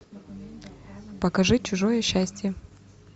покажи чужое счастье